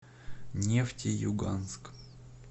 нефтеюганск